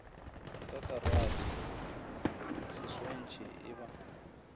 ka karate seswantšhi e ba